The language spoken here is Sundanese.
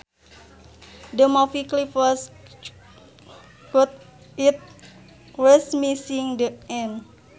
The movie clip was cut it was missing the end